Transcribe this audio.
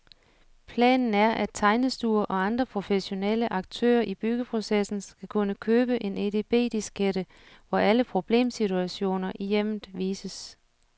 Planen er, at tegnestuer og andre professionelle aktører i byggeprocessen skal kunne købe en edb-diskette, hvor alle problemsituationer i hjemmet vises.